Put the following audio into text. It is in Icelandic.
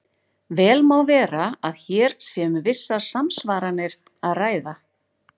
Vel má vera að hér sé um vissar samsvaranir að ræða.